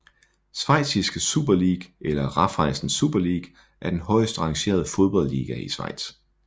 Schweiziske Super League eller Raiffeisen Super League er den højest rangerede fodboldliga i Schweiz